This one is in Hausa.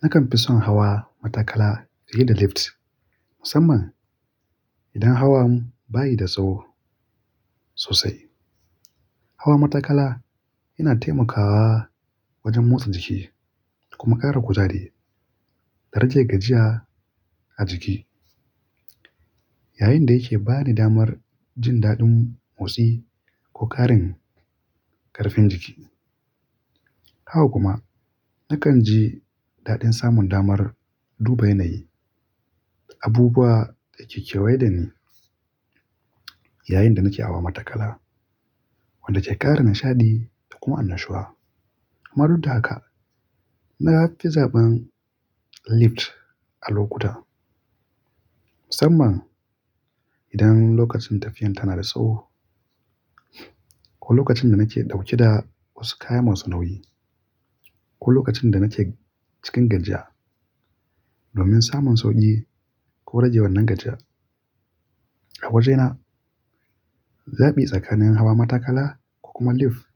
Nakan fi son hawa matakala fiye da lift, musamman idan hawan bayi da tsawo sosai. Hawa matakala yana taimakawa wajen motsa jiki kuma ƙara kuzari da rage gajiya a jiki, yayin da yake ba ni damar jin daɗin motsi ko ƙarin ƙarfin jiki. Haka kuma nakan ji daɗin samun damar duba yanayi, abubuwa da ke kewaye da ni yayin da nake hawa matakala, wanda ke ƙara nishaɗi da kuma annashuwa. Amma duk da haka, na fi zaɓan lift a lokuta, musamman idan lokacin tafiyan tana da tsawo ko lokacin da nake ɗauke da wasu kaya masu nauyi ko lokacin da nake cikin gajiya domin samun sauƙi ko rage wannan gajiya a wajena. Zaɓi tsakanin hawa matakala ko kuma lif